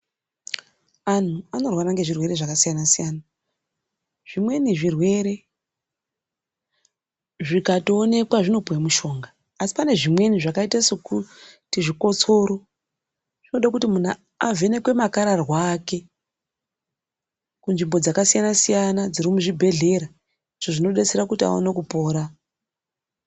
Anhu anorwara ngezvirwere zvakasiyana-siyana zvimweni zvirwere zvikatoonekwa zvinopuwa mishonga. Asi panezvimweni zvakaita sezvikotsoro zvinode kuti muntu avhenekwe makararwa ake kunzvimbo dzakasiyna-siyana dziri muzvibhedhlera izvo zvinodetsera kuti aone kupora.